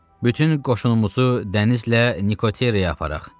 Bütün qoşunumuzu dənizlə Nikoteraya aparaq.